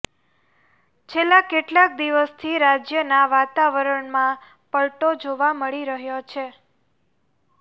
છેલ્લા કેટલાક દિવસથી રાજ્યના વાતાવરણમાં પલટો જોવા મળી રહ્યો છે